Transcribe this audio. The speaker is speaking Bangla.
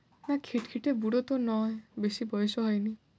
না, খিটখিটে বুড়ো তো নয়, বেশি বয়সও হয়নি।